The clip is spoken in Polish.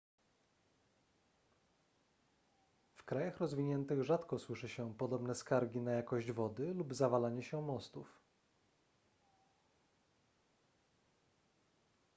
w krajach rozwiniętych rzadko słyszy się podobne skargi na jakość wody lub zawalanie się mostów